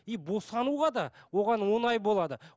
и босануға да оған оңай болады